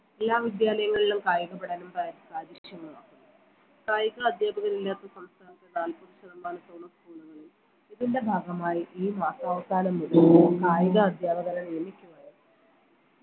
എല്ലാ വിദ്യാലയങ്ങളിലും കായിക പഠനം പാ കാര്യക്ഷമമാക്കുന്നു കായിക അധ്യാപകരില്ലാത്ത സംസ്ഥാനത്തെ നാൽപ്പത് ശതമാനത്തോളം school കളിൽ ഇതിന്റെ ഭാഗമായി ഈ മാസാവസാനം മുതൽ കായിക അധ്യാപകരെ നിയമിക്കുന്നത്